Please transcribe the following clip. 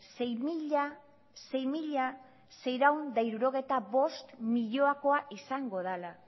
sei mila seiehun eta hirurogeita bost milioikoa izango dela